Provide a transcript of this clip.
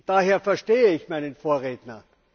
Daher verstehe ich meinen Vorredner.